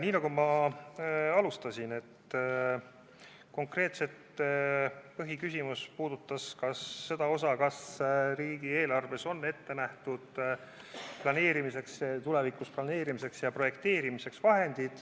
Nii nagu ma alustuseks ütlesin, puudutas põhiküsimus seda, kas riigieelarves on ette nähtud vahendid tulevikus planeerimiseks ja projekteerimiseks.